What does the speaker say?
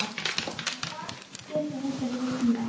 Hríslan að baki þeim færðist nær.